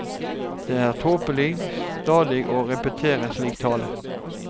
Det er tåpelig stadig å repetere slik tale.